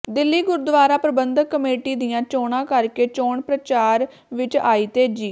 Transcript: Delhi Gurdwara Prabandhak committee ਦੀਆਂ ਚੋਣਾਂ ਕਰਕੇ ਚੋਣ ਪ੍ਰਚਾਰ ਵਿੱਚ ਆਈ ਤੇਜ਼ੀ